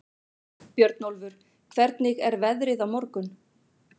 Björnólfur, hvernig er veðrið á morgun?